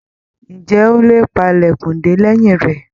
Ǹjẹ́ ó lè pa ilẹkun de lẹ́yìn rẹ?